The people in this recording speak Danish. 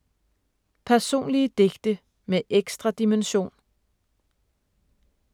Personlige digte med ekstra dimension